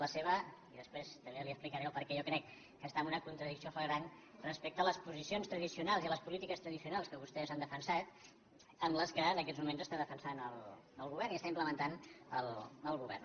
la seva i després també li explicaré el perquè jo crec que està en una contradicció flagrant respecte a les posicions tradicionals i a les polítiques tradicionals que vostès han defensat amb les que en aquests moments defensa el govern i implementa el govern